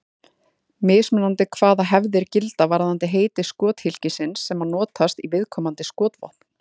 Mismunandi er hvaða hefðir gilda varðandi heiti skothylkisins sem notast í viðkomandi skotvopn.